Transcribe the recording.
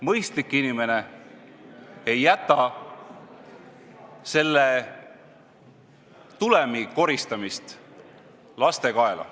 Mõistlik inimene ei jäta selle tulemi koristamist laste kaela.